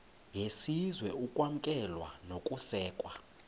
yesizwe ukwamkelwa nokusekwa